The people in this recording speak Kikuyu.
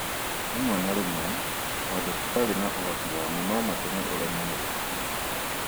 Rĩmwe na rĩmwe, maũndũ tũtarĩ na ũhoti wa mo no matũme ũremwo nĩ gũkoma